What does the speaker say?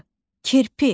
K kirpi.